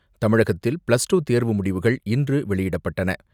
அமைச்சர் டாக்டர் விஜயபாஸ்கர் தமிழகத்தில் plus two தேர்வு முடிவுகள் இன்று வெளியிடப்பட்டன.